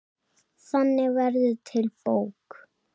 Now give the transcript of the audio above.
Þannig verður til bók.